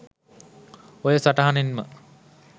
ඔය සටහනේම